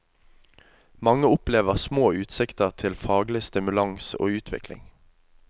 Mange opplever små utsikter til faglig stimulans og utvikling.